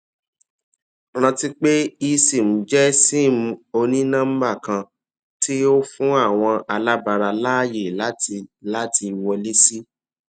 ranti pe esim jẹ sim oninọmba kan ti o fun awọn alabara laaye lati lati wọle si